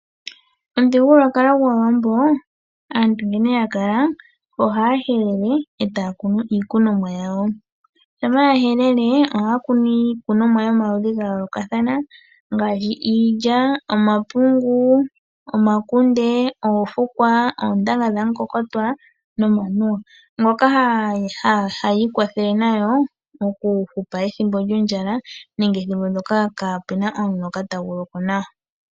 Omuthigululwakalo gwaawambo, aantu nkene ya kala ohaya helele e taya kunu iikunomwa yawo. Shampa ya helele ohaya kunu iikunomwa yomaludhi ga yoolokathana ngaashi iilya, omapungu, omakunde, oofukwa, oontanga dhamukokotwa nomanuwa, ngoka hayi ikwathele nayo oku hupa ethimbo lyondjala nenge ethimbo ndoka kaa kuna omuloka tagu loko nawa.